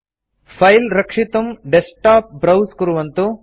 file रक्षितुं desktop browse कुर्वन्तु